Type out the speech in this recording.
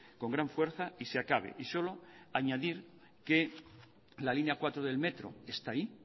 con gran fuerza y se acabe y solo añadir que la línea cuatro del metro está ahí